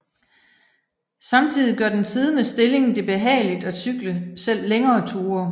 Samtidigt gør den siddende stilling det behageligt at cykle selv længere ture